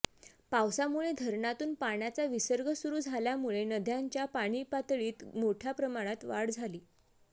पावसामुळे धरणातून पाण्याचा विसर्ग सुरु झाल्यामुळे नद्यांच्या पाणीपातळीत मोठय़ा प्रमाणात वाढ झाली